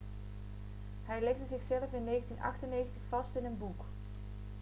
hij legde zichzelf in 1998 vast in een boek